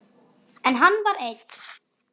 En hann var einn.